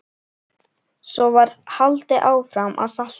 Svo var haldið áfram að salta.